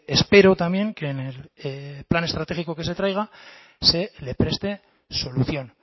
espero también que en el plan estratégico que se traiga se le preste solución